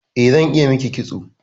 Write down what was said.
Eh, zan iya miki kitso